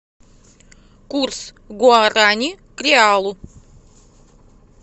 курс гуарани к реалу